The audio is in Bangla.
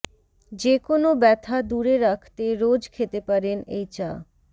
যে কোনও ব্যথা দূরে রাখতে রোজ খেতে পারেন এই চা